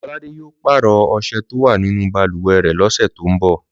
Lọ́ládé yóò pàrọ̀ ọṣẹ tó wà nínú balùwẹ̀ rẹ̀ lọ́sẹ̀ tó ń bọ̀